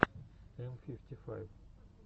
м фифти файв